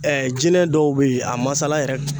jinɛ dɔw be yen a masala yɛrɛ